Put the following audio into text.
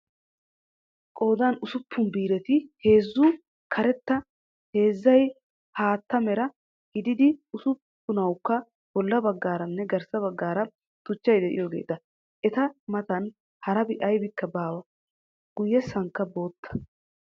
Qooddan ussuppun biireti heezzay karetta heezzay haatta mera gididi usupunawukka bolla baggaaranne garssa baggaara tuchay diyoogeeta. eta matan harabi aybikka baawa. guyessaykka bootta.